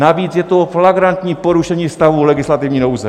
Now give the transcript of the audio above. Navíc je to flagrantní porušení stavu legislativní nouze.